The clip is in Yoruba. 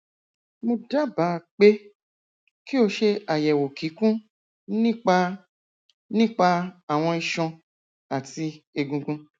mo dábàá pé kí o ṣe àyẹwò kíkún nípa nípa àwọn iṣan àti egungun